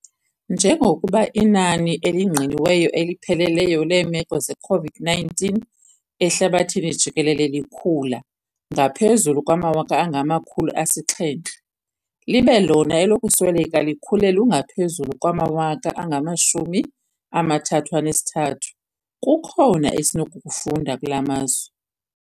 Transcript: Njengokuba inani elingqiniweyo elipheleleyo leemeko ze-COVID-19 ehlabathini jikelele likhula ngaphezulu kwamawaka angama-700 libe lona elokusweleka likhule lungaphezulu kwamawaka angama-33, kukhona esinokukufunda kula mazwe.